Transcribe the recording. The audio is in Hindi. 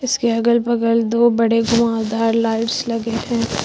इसके अगल बगल दो बड़े घुमावदार लाइट्स लगे हैं।